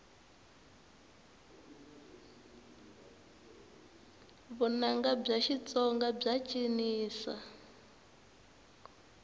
vunanga bya xitsonga bya cinisa